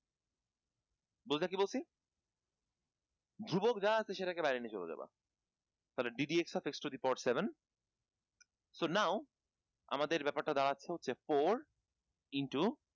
বুঝলা কী বলছি? ধ্রুবক যা আছে সেটাকে বাইরে নিয়ে চলে যাবা তালে d dx of x to the power seven so now আমাদের ব্যাপারটা দাড়াচ্ছে হচ্ছে four into